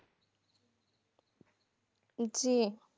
জি